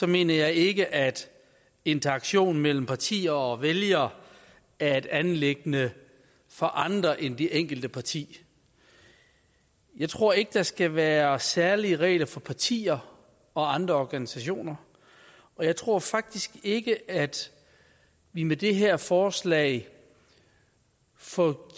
mener jeg ikke at interaktion mellem partier og vælgere er et anliggende for andre end det enkelte parti jeg tror ikke der skal være særlige regler for partier og andre organisationer og jeg tror faktisk ikke at vi med det her forslag får